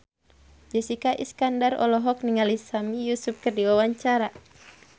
Jessica Iskandar olohok ningali Sami Yusuf keur diwawancara